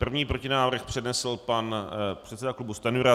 První protinávrh přednesl pan předseda klubu Stanjura.